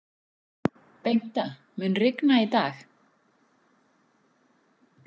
Bengta, mun rigna í dag?